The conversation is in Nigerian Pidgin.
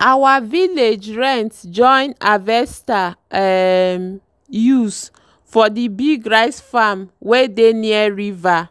our village rent join harvester um use for the big rice farm wey dey near river.